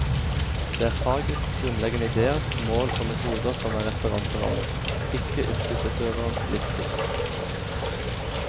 Det er fagets grunnleggende ideer, mål og metoder som er referanseramme, ikke yrkesutøverens livssyn.